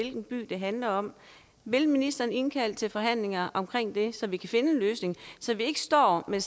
anden by det handler om vil ministeren indkalde til forhandlinger om det så vi kan finde en løsning så vi ikke står med